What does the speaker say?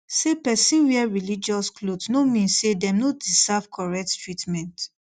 say person wear religious cloth no mean say dem no deserve correct treatment